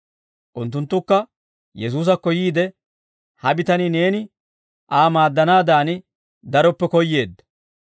Unttunttukka Yesuusakko yiide, «Ha bitanii, Neeni Aa maaddanaadan daroppe koyyeedda;